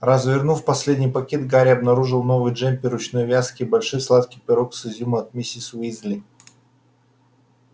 развернув последний пакет гарри обнаружил новый джемпер ручной вязки и большой сладкий пирог с изюмом от миссис уизли